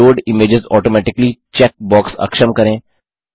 load images automatically check box अक्षम करें